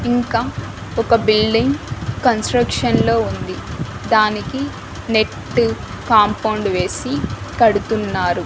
ఇంకా ఒక building construction లో ఉంది దానికి నెట్టు కాంపౌండ్ వేసి కడుతున్నారు.